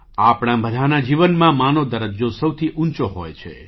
આપણા બધાંનાં જીવનમાં 'મા'નો દરજ્જો સૌથી ઊંચો હોય છે